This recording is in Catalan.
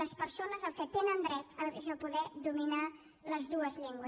les persones al que tenen dret és a poder dominar les dues llengües